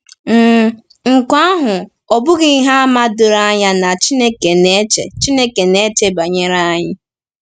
um Nke ahụ ọ̀ bụghị ihe àmà doro anya na Chineke na-eche Chineke na-eche banyere anyị?